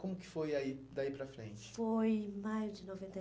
Como que foi aí, daí para frente? Foi mais de